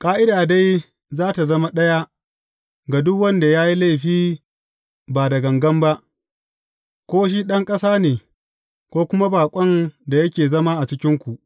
Ƙa’ida dai za tă zama ɗaya ga duk wanda ya yi laifi ba da gangan ba, ko shi ɗan ƙasa ne, ko kuma baƙon da yake zama a cikinku.